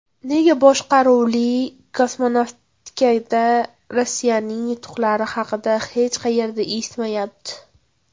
Nega boshqaruvli kosmonavtikada Rossiyaning yutuqlari haqida hech qayerda eshitilmayapti?